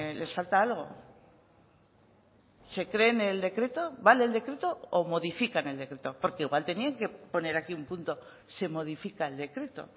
les falta algo se creen el decreto vale el decreto o modifican el decreto porque igual tenían que poner aquí un punto se modifica el decreto